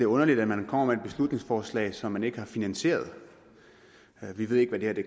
underligt at man kommer med et beslutningsforslag som man ikke har finansieret vi ved ikke hvad det